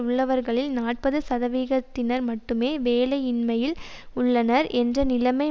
உள்ளவர்களில் நாற்பது சதவிகிதத்தினர் மட்டுமே வேலையின்மையில் உள்ளனர் என்ற நிலைமை